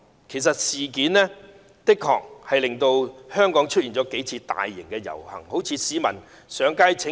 其實這件事的確令香港出現了數次大型遊行，例如很多市民上街請願。